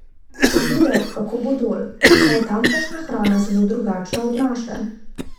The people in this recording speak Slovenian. Bom videl, kako bo dol, saj je tamkajšnja hrana zelo drugačna od naše.